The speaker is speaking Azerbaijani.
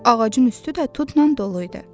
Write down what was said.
Ağacın üstü də tutla dolu idi.